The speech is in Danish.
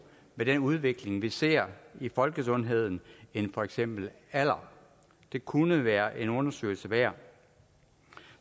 med den udvikling vi ser i folkesundheden end for eksempel alder det kunne være en undersøgelse værd